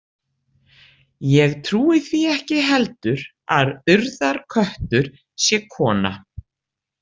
Ég trúi því ekki heldur að Urðarköttur sé kona.